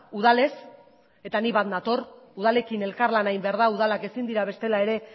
udalez eta nik bat nator udalekin elkarlana egin behar da udalak ezin dira bestela ere